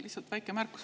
Lihtsalt väike märkus.